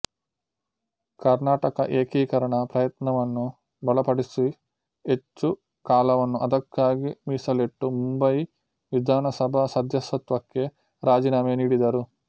ಕರ್ನಾಟಕ ಏಕೀಕರಣ ಪ್ರಯತ್ನವನ್ನು ಬಲ ಪಡಿಸಿಹೆಚ್ಚು ಕಾಲವನ್ನು ಅದಕ್ಕಾಗಿ ಮೀಸಲಿಟ್ಟು ಮುಂಬಯಿ ವಿಧಾನ ಸಭಾ ಸದಸ್ಯತ್ವಕ್ಕೆ ರಾಜೀನಾಮೆ ನೀಡಿದರು